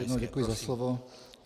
Ještě jednou děkuji za slovo.